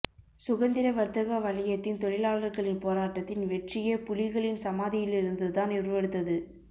சுகந்திரவர்த்தக வலயத்தின் தொழிலாளர்களின் போராட்டத்தின் வெற்றியே புலிகளின் சமாதியில்லிருந்து தான் உருவெடுத்தது